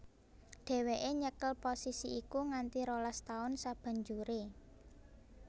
Dheweke nyekel posisi iku nganti rolas taun sabanjuré